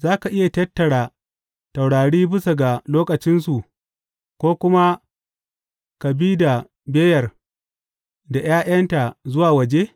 Za ka iya tattara taurari bisa ga lokacinsu ko kuma ka bi da beyar da ’ya’yanta zuwa waje?